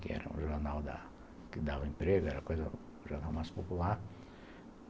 que era um jornal que dava emprego, era um jornal mais popular.